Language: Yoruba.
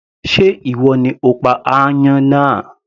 Sé ìwọ ni o pa aáyán náà